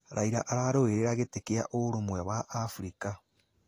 Raila ararũĩrĩra gĩtĩ kĩa ũrũmwe wa Abirika.